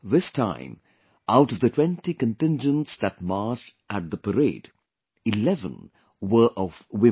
This time, out of the 20 contingents that marched in the Parade, 11 were of women